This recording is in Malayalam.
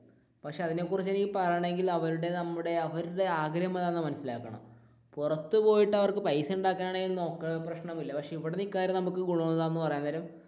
പക്ഷെ അതിനു കുറിച്ച് പറയണമെങ്കിൽ അവരുടെ നമ്മുടെ അവരുടെ ആഗ്രഹം എന്താണെന്ന് മനസിലാക്കണം, പുറത്തുപോയിട്ട് അവര്ക്ക് പൈസ ഉണ്ടാക്കാനാണ് നോക്കുന്നതെങ്കിൽ പ്രശ്നമില്ല പക്ഷെ ഇവിടെ നിക്കാൻ നേരം നമുക്ക് ഗുണം എന്താണെന്ന് പറയാൻ നേരം